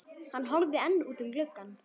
Hann horfði enn út um gluggann.